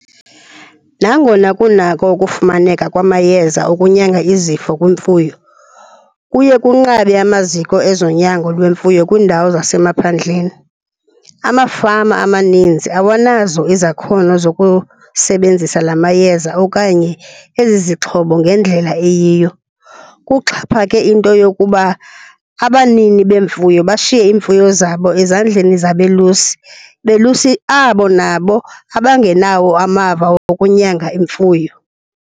Nangona kunako ukufumaneka kwamayeza ukunyanga izifo kwimfuyo, kuye kunqabe amaziko ezonyago lwemfuyo kwiindawo zasemaphandleni. Amafama amaninzi awanazo izakhono zokusebenzisa la mayeza okanye ezi zixhobo ngendlela eyiyo. Kuxhaphake into yokuba abanini beemfuyo bashiye iimfuyo zabo ezandleni zabelusi, belusi abo nabo abangenawo amava wokunyanga imfuyo.